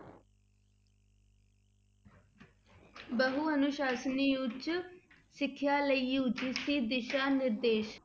ਬਹੁ ਅਨੁਸਾਸਨੀ ਉੱਚ ਸਿੱਖਿਆ ਲਈ UGC ਦਿਸ਼ਾ ਨਿਰਦੇਸ਼